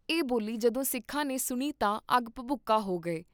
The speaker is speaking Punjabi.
ਇਹ ਬੋਲੀ ਜਦੋਂ ਸਿੱਖਾਂ ਨੇ ਸੁਣੀ ਤਾਂ ਅੱਗ ਭਬੂਕਾ ਹੋ ਗਏ